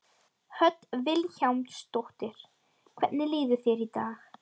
Hödd Vilhjálmsdóttir: Hvernig líður þér í dag?